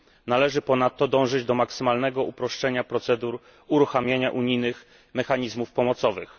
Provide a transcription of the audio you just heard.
Należy ponadto dążyć do maksymalnego uproszczenia procedur uruchamiania unijnych mechanizmów pomocowych.